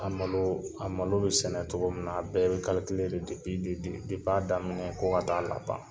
A malo a malo bɛ sɛnɛ cogo min na a bɛɛ bɛ a daminɛ fo ka ta'a laban